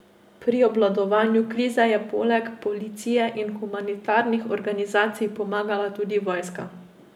Pri obvladovanju krize je poleg policije in humanitarnih organizacij pomagala tudi vojska.